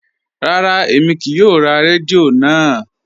Rárá, èmi kíì yóò rá rẹ́díò náà.